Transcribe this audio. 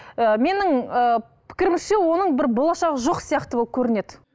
і менің ііі пікірімше оның бір болашағы жоқ сияқты болып көрінеді